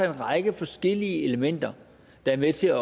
en række forskellige elementer der er med til